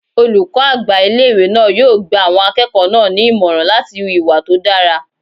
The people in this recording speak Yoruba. Olùkọ́ àgbà ilé-ìwé náà yóò gba àwọn akẹ́kọ̀ọ́ náà ní ìmọ̀ràn láti hu ìwà tó dára